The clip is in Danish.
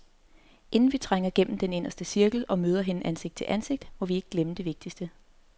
Inden vi trænger gennem den inderste cirkel og møder hende ansigt til ansigt, må vi ikke glemme det vigtigste.